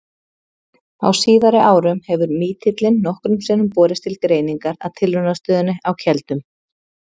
Á síðari árum hefur mítillinn nokkrum sinnum borist til greiningar að Tilraunastöðinni á Keldum.